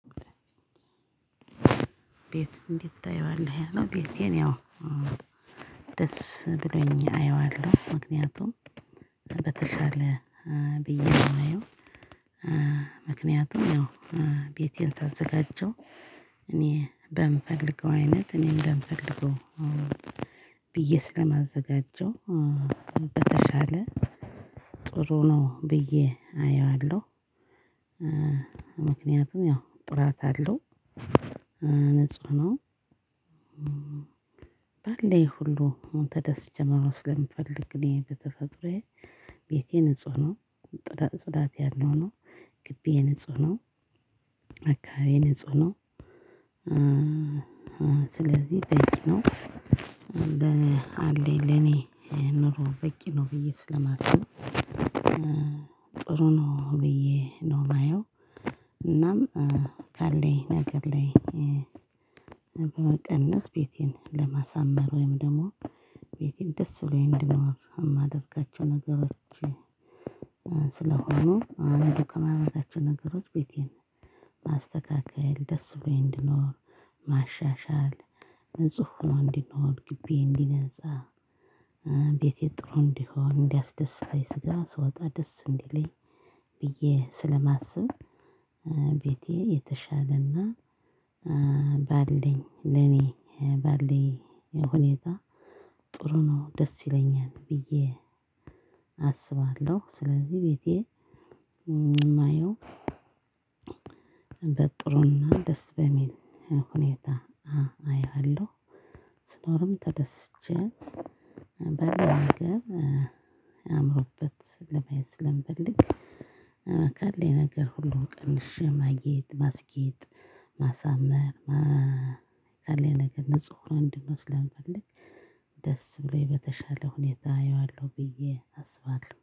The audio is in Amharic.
ቤት እንዴት ታየዋለህ ያለው ቤቴን ያው ደስ ብሎኝ አየዋለሁ። ምክንያቱም በተሻለ ብዬ የማየው ምክንያቱም ያው ቤቴን ሳዘጋጀው እኔ በምፈልገው አይነት እኔ እንደምፈልገው ብዬ ስለማዘጋጀው በተሻለ ጥሩ ነው ብዬ አየዋለሁ። ምክንያቱም ያው ጥራት አለው ንጹህ ነው። ባለኝ ሁሉ አሁን ተደስቼ ማመስገን የምፈልግ እኔ በተፈጥሮዬ ቤቴ ንጹህ ነው ጥዳት ጽዳት ያለው ነው ግቢዬ ንጹህ ነው አካባቢዬ ንጹህ ነው። ስለዚህ በቂ ነው አለኝ ለኔ ኑሮ በቂ ነው ብዬ ስለማስብ ጥሩ ነው ብዬ ነው የማየው። እናም ካለኝ ነገር ላይ በመቀነስ ቤቴን ለማሳመር ወይም ደግሞ ቤቴን ደስ ብሎኝ እንድኖር የማደርጋቸው ነገሮች። ስለሆኑ አንዱ ከማድረጋቸው ነገሮች ቤቴን ማስተካከል ደስ ብሎኝ እንድኖር ማሻሻል ንጹህ ሆኖ እንዲኖር ግቢዬ እንዲነፃ ቤቴ ጥሩ እንዲሆን እንዲያስደስታኝ ከዛ ስወጣ ደስ እንዲለኝ ብዬ ስለማስብ። ቤቴ የተሻለና ባለኝ ለኔ ባለኝ ሁኔታ ጥሩ ነው ደስ ይለኛል ብዬ አስባለሁ። ስለዚህ ቤቴ የማየው በጥሩና ደስ በሚል ሁኔታ አየሃለሁ። ስኖርም ተደስቼ በሌላ ነገር አምሮበት ለማየት ስለምፈልግ አካል ላይ ነገር ሁሉ ቀንሼ ማጌጥ ማስጌጥ ማሳመር ካለኝ ነገር ንጹህ ሆኖ እንዲኖር ስለምፈልግ ደስ ብሎኝ በተሻለ ሁኔታ አየዋለሁ ብዬ አስባለሁ